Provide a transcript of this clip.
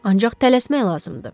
Ancaq tələsmək lazımdır.